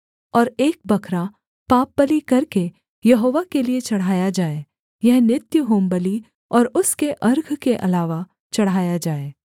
और एक बकरा पापबलि करके यहोवा के लिये चढ़ाया जाए यह नित्य होमबलि और उसके अर्घ के अलावा चढ़ाया जाए